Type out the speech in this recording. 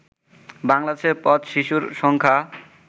বাংলাদেশে পথ-শিশুর সংখ্যা